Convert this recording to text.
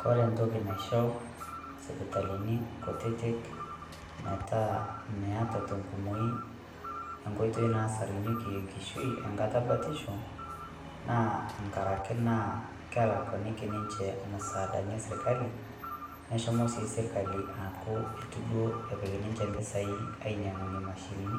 koree entoki naishoo sipitalini kutitik meta metaa tenkumoi enkoitoi nasarunyieki enkishui tenkata ebatisho naakelakueniki ninje msadani esirkali neshomo sirkali aaaku itu duoo epik ninje mpisai ainyang'unyiee mashinini